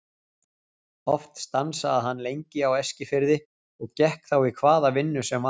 Oft stansaði hann lengi á Eskifirði og gekk þá í hvaða vinnu sem var.